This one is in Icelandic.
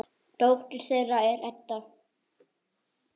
Dóttir þeirra er Edda.